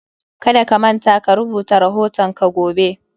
Kada ka manta ka rubuta rahoton ka gobe